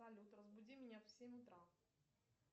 салют разбуди меня в семь утра